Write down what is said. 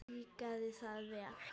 Mér líkaði það vel.